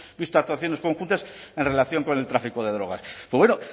visto actuaciones conjuntas en relación con el tráfico de drogas pues bueno